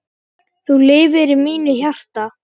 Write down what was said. Þú lifir í mínu hjarta.